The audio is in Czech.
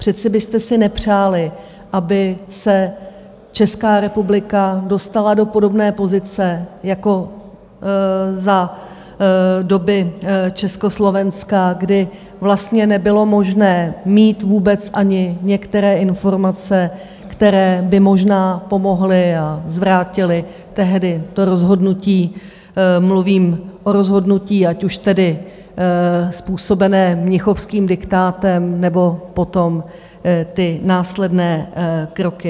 Přece byste si nepřáli, aby se Česká republika dostala do podobné pozice jako za doby Československa, kdy vlastně nebylo možné mít vůbec ani některé informace, které by možná pomohly a vrátily tehdy to rozhodnutí, mluvím o rozhodnutí, ať už tedy způsobené mnichovským diktátem, nebo potom ty následné kroky.